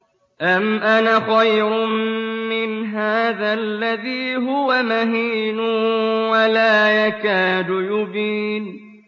أَمْ أَنَا خَيْرٌ مِّنْ هَٰذَا الَّذِي هُوَ مَهِينٌ وَلَا يَكَادُ يُبِينُ